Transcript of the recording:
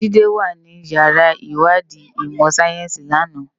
Jide wá ni iyàrá iwádi imò sáyénsi làná